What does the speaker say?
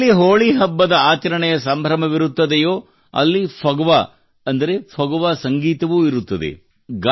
ಎಲ್ಲಿ ಹೋಳಿ ಹಬ್ಬದ ಆಚರಣೆಯ ಸಂಭ್ರಮವಿರುತ್ತದೋ ಅಲ್ಲಿ ಫಗವಾ ಅಂದರೆ ಫಗುವಾ ಸಂಗೀತವೂ ಇರುತ್ತದೆ